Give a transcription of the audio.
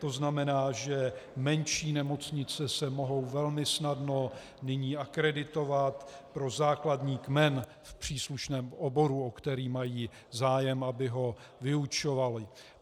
To znamená, že menší nemocnice se mohou velmi snadno nyní akreditovat pro základní kmen v příslušném oboru, o který mají zájem, aby ho vyučovaly.